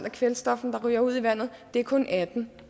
af kvælstoffet der ryger ud i vandet det er kun atten